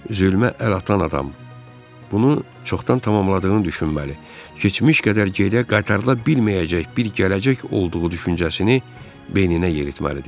Zülmə əl atan adam, bunu çoxdan tamamladığını düşünməli, keçmiş qədər gedə qaytarıla bilməyəcək bir gələcək olduğu düşüncəsini beyninə yeritməlidir.